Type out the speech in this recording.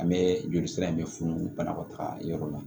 An bɛ joli sira in bɛ funu banakɔtaga yɔrɔ la